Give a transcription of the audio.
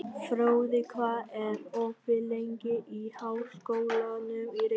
Fróði, hvað er opið lengi í Háskólanum í Reykjavík?